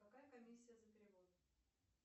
какая комиссия за перевод